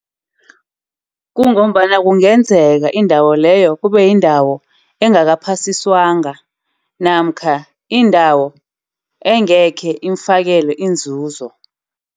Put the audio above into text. Kungombana kungenzeka indawo leyo kube yindawo engaka uphasiswanga. Namkha indawo engekhe imfakele inzuzo.